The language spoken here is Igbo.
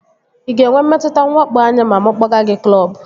Ị ga-enwe mmetụta nwakpo anya ma mụ kpọga gị klọbu?